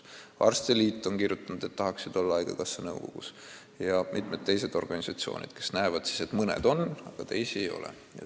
" Arstide liit on kirjutanud, et nad tahaksid haigekassa nõukogus olla, ja ka mitmed teised organisatsioonid, kes näevad, et mõned seal on, aga teisi ei ole.